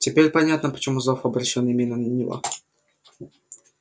теперь понятно почему зов обращён именно на него